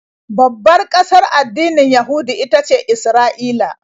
Babbar ƙasar addinin Yahudu ita ce Isra'ila.